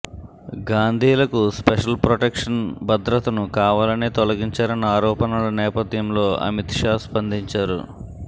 గాంధీలకు special protection భద్రతను కావాలనే తొలగించారన్న ఆరోపణల నేపధ్యంలో అమిత్ షా స్పందించారు